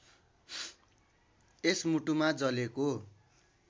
यस मुटुमा जलेको